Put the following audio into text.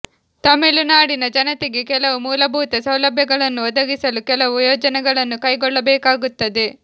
ತಮಿಳುನಾಡಿನ ಜನತೆಗೆ ಕೆಲವು ಮೂಲಭೂತ ಸೌಲಭ್ಯಗಳನ್ನು ಒದಗಿಸಲು ಕೆಲವು ಯೋಜನೆಗಳನ್ನು ಕೈಗೊಳ್ಳಬೇಕಾಗುತ್ತದೆ